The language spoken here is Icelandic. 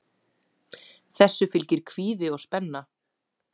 Þessu fylgir kvíði og spenna.